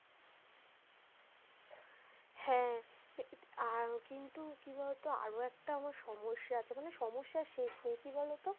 হ্যা কিন্তু কি বলতো আরো একটা আমার সমস্যা আছে মানে সমস্যার শেষ নেই কি বলতো,